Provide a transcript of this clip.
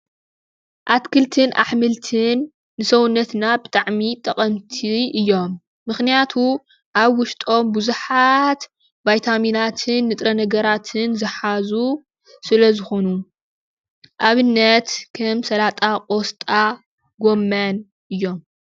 አትክልትን አሕምልትን ንሰዉነትና ብጣዕሚ ጠቐምቲ እዮም። ምክንያቱ አብ ውሽጦም ቡዙሓት ቫይታሚናትን ንጥረ ነገራትን ዝሓዙ ስለ ዝኮኑ። ኣብነት ከም ሰላጣ፣ ቆስጣ፣ ጎመን እዮም።